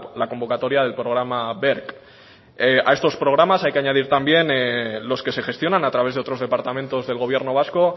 la convocatoria del programa berc a estos programas hay que añadir también los que se gestionan a través de otros departamentos del gobierno vasco